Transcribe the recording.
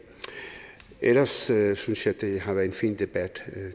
ellers synes synes jeg at det har været en fin debat